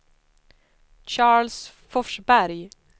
Charles Forsberg